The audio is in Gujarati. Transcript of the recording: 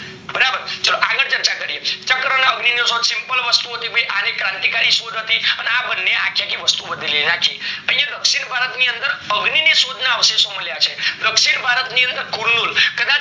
બરાબર ચાલો આગળ ચર્ચા કરીએ ચક્ર, અને અગ્નિ નો શોધ simple વસ્તુ ઓ છે ભય આ ક્રાંતિકારી શોધ હતી અને આ બની આખી વસ્તુ નાખી યા દક્ષીણ ભારત ની અંદર અગ્નિ ની શોધ ના અવશેષો મળ્યા છે દક્ષીણ ભારત ની અંદર કુલ્નુર